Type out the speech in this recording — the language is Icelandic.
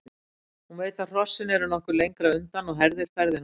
Hún veit að hrossin eru nokkuð lengra undan og herðir ferðina.